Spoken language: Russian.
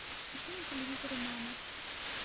ищи на телевизоре мама